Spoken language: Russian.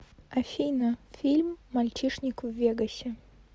афина фильм мальчишник в вегасе